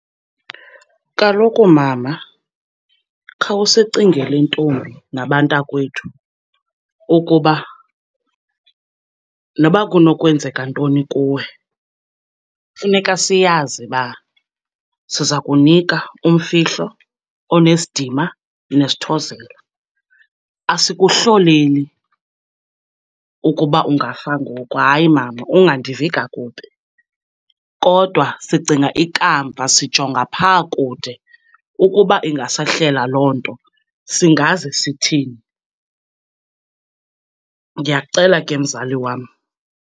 Kaloku mama, khawusicingele ntombi nabantakwethu ukuba noba kunokwenzeka ntoni kuwe, funeka siyazi uba siza kunika umfihlo onesidima nesithozela. Asikuhloleli ukuba ungafa ngoku. Hayi, mama, ungandivi kakubi. Kodwa sicinga ikamva, sijonga phaa kude ukuba ingasehlela loo nto, singaze sithini. Ndiyakucela ke mzali wam.